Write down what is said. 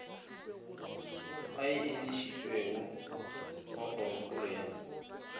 a enišitšwego wa kgorokgolo ya